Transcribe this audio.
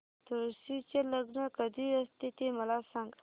तुळशी चे लग्न कधी असते ते मला सांग